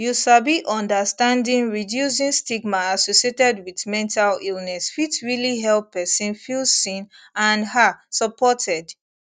you sabi understanding reducing stigma associated wit mental illness fit realli help pesin feel seen and ah supported